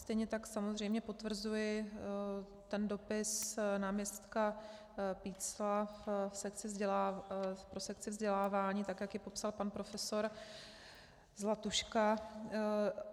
Stejně tak samozřejmě potvrzuji ten dopis náměstka Pícla pro sekci vzdělávání, tak jak ji popsal pan profesor Zlatuška.